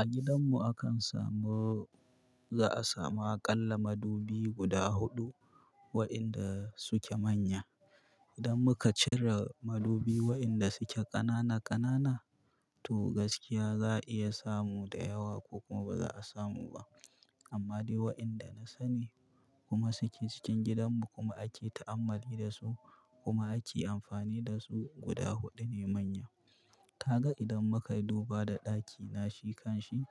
A gidanmu akan samu, za a samu aƙalla madubi guda huɗu waɗanda suke manya. Idan muka cire madubi waɗanda suke ƙanana ƙanana to gaskiya za'a iya samu da yawa ko kuma ba za'a samu ba. Amma dai waɗanda na sani kuma suke cikin gidanmu kuma ake ta'ammali da su kuma ake amfani da su guda huɗu ne manya. Kaga idan muka yi duba da ɗakina, shi kanshi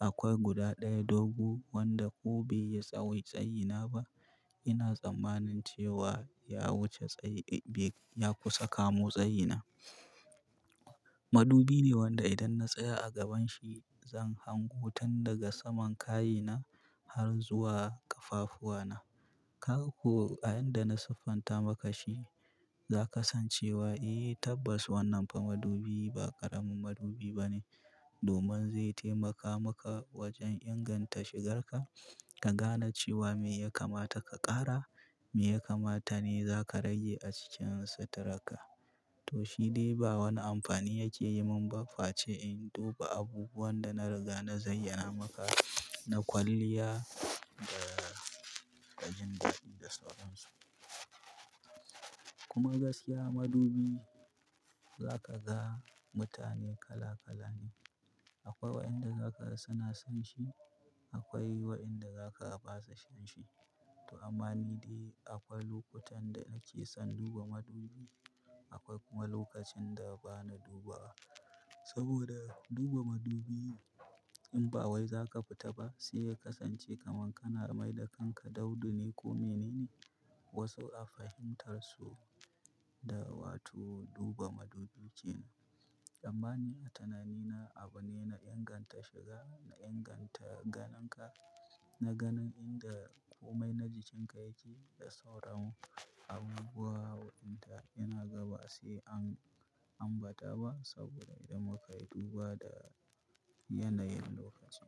akwai guda ɗaya dogo wanda ko bai yi tsawon tsayina ba. Ina tsammanin cewa ya wuce tsayi dai dai ya kusa kamo tsayina. Madubi ne wanda idan na tsaya a gabanshi zan hango tun daga saman kayina har zuwa ƙafafuwana. Kaga ko a inda na siffanta maka shi zaka san cewa eh tabbas wannan fa madubi ba ƙaramin madubi bane domin zai taimaka maka wajen inganta shigar ka, ka gane cewa me ya kamata ka ƙara, me ya kamata ne za ka rage a cikin suturar ka to shi dai ba wani amfani yake yi mun ba face in duba abubuwan da na riga na zayyana maka na kwalliya da, da jindadi da sauransu. Kuma gaskiya madubi, za ka ga mutane kala kala ne. Akwai waɗanda zaka ga suna son shi, akwai waɗanda zaka ga ba su son shi. To amma ni dai akwai lokutan da nake son duba madubi, akwai kuma lokacin da bana dubawa. Saboda duba madubi in ba wai zaka fita ba sai ka kasance kaman kana mai da kanka daudu ne ko menene. Wasu a fahimtarsu da wato duba madubi kenan. Amma ni a tunanina abu ne na inganta shiga, na inganta ganin ka, na ganin inda komai na jikinka yake da sauran abubuwa waɗanda ina ga ba sai an ambata ba saboda idan muka yi duba da yanayin lokacin.